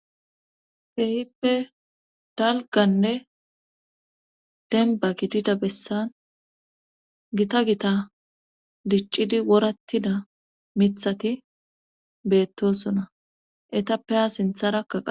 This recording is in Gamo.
Keehippe dalganne denba gidida bessan gita gita diccidi worattida mithati beettosona etappe ha sintharaka qas